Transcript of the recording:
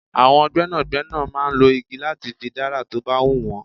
Àwọn gbẹ́nàgbẹ́nà máa ń lọ igi láti fi dára tó bá hun wọn.